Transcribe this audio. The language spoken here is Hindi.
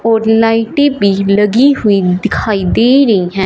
और लाइटें बी लगी हुई दिखाई दे रहीं हैं।